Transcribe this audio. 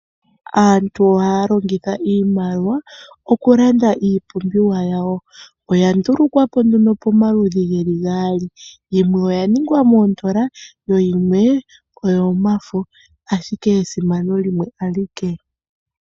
Aantu oha ya longitha iimaliwa okulanda iipumbiwa yawo oya ndulukwapo nduno pomaludhi ge li gaali yimwe oya ningwa moondola yo yimwe oyomafo ashike esimano limwe alike.